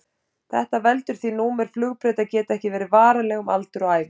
Þetta veldur því númer flugbrauta geta ekki verið varanleg um aldur og ævi.